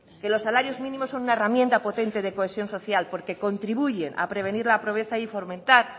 que los salarios mínimos son una herramienta potente de cohesión social porque contribuyen a prevenir la pobreza y fomentar